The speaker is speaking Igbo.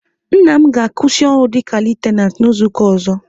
Nna m ga-akwụsị ọrụ dịka Litenant n'izuka ọzọ